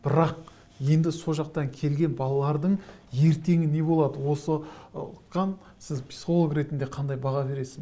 бірақ енді сол жақтан келген балалардың ертеңі не болады осы ы сіз психолог ретінде қандай баға бересіз